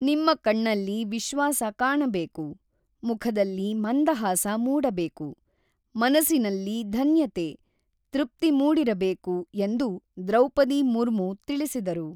ನಿಮ್ಮ ಕಣ್ಣಲ್ಲಿ ವಿಶ್ವಾಸ ಕಾಣಬೇಕು, ಮುಖದಲ್ಲಿ ಮಂದಹಾಸ ಮೂಡಬೇಕು, ಮನಸಿನಲ್ಲಿ ಧನ್ಯತೆ, ತೃಪ್ತಿ ಮೂಡಿರಬೇಕು ಎಂದು ದ್ರೌಪದಿ ಮುರ್ಮು ತಿಳಿಸಿದರು.